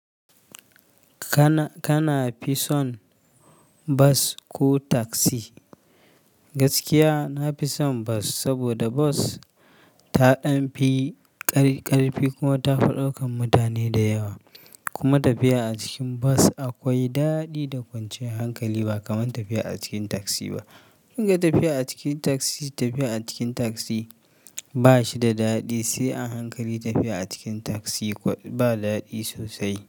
Kana, kana fi son bas ko taksi? Gaskiya nafi son bas saboda bas ta ɗan fi ƙar-ƙarfi kuma tafi daukan mutane da yawa. Kuma tafiya a cikin bas akwai daɗi da kwanciyar hankali ba kamar tafiya a cikin taksi ba. Shi tafiya a cikin taksi, tafiya a cikin taksi ba shi da daɗi, sai a hankali tafiya a cikin taksi ba daɗi sosai.